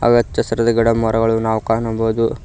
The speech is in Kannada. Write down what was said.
ಹಾಗೆ ಹಚ್ಚಹಸಿರಾದ ಗಿಡಮರಗಳನ್ನು ನಾವು ಕಾಣಬೋದು.